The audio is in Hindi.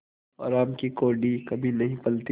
हराम की कौड़ी कभी नहीं फलती